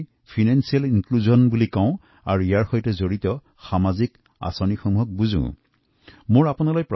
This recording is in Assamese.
অৰ্থাৎ ফাইনেন্সিয়েল ইনক্লুচন ৰ দৰে সামাজিক আঁচনিসমূহৰ প্ৰতি মই আগ্ৰহী